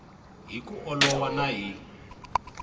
hi ku olova na hi